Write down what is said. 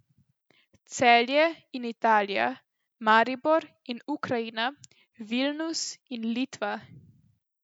Celje in Italija, Maribor in Ukrajina, Vilnus in Litva.